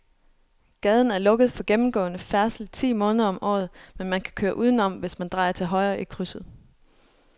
Gaden er lukket for gennemgående færdsel ti måneder om året, men man kan køre udenom, hvis man drejer til højre i krydset.